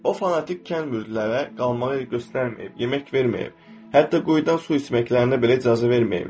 O fanatik kənd müridlərə qalmağa yer göstərməyib, yemək verməyib, hətta quyudan su içməklərinə belə icazə verməyiblər.